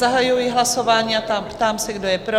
Zahajuji hlasování a ptám se, kdo je pro?